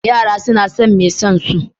Yara suna son mai son su.